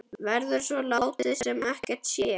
Verður svo látið sem ekkert sé?